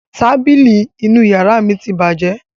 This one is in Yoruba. Tábìlì inú ìyàrá mi ti bàjẹ́.